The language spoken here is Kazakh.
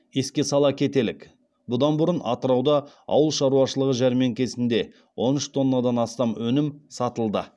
еске сала кетелік бұдан бұрын атырауда ауыл шаруашылығы жәрмеңкесінде он үш тоннадан астам өнім сатылды